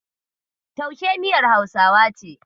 Taushe miyar Hausawa ce.